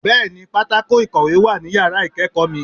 Bẹ́ẹ̀ni pátákó ìkọ̀wé wà ní yàrá ìkéèkó mi